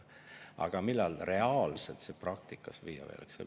Aga millal see reaalselt praktikasse viiakse?